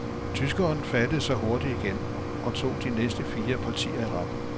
Tyskeren fattede sig hurtigt igen, og tog de næste fire partier i rap.